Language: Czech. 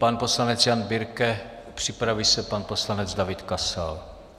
Pan poslanec Jan Birke, připraví se pan poslanec David Kasal.